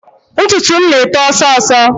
Ntutu m na-eto ọsọọsọ